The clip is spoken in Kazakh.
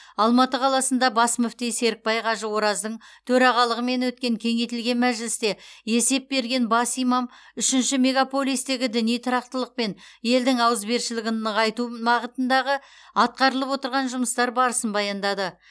алматы қаласында бас мүфти серікбай қажы ораздың төрағалығымен өткен кеңейтілген мәжілісте есеп берген бас имам үшінші мегаполистегі діни тұрақтылық пен елдің ауызбіршілігін нығайту мағытындағы атқарылып отырған жұмыстар барысын баяндады